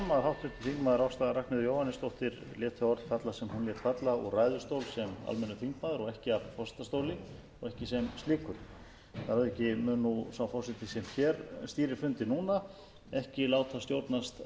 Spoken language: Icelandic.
falla úr ræðustól sem almennur þingmaður og ekki af forsetastóli og ekki sem slíkur að auki mun sá forseti sem hér stýrir fundi núna ekki láta stjórnast